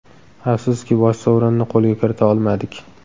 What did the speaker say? Afsuski, bosh sovrinni qo‘lga kirita olmadik.